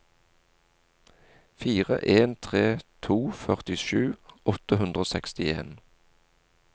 fire en tre to førtisju åtte hundre og sekstien